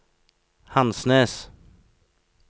Hansnes